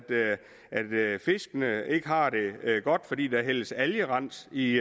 fiskene ikke har det godt fordi der hældes algerens i